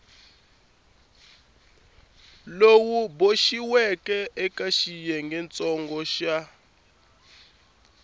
lowu boxiweke eka xiyengentsongo xa